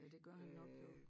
Ja det gør han nok jo